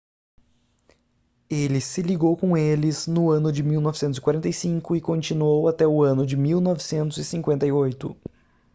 ele se ligou com eles no ano de 1945 e continuou até o ano de 1958